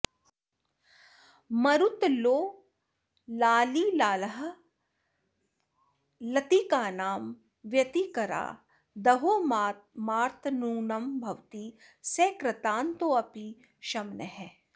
मरुल्लोलालीलालहरिलतिकानां व्यतिकरा दहो मातर्नूनं भवति स कृतान्तोऽपि शमनः